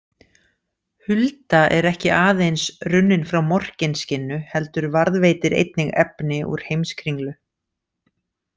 Hulda er ekki aðeins runnin frá Morkinskinnu heldur varðveitir einnig efni úr Heimskringlu.